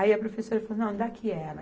Aí a professora falou, não, me dá aqui ela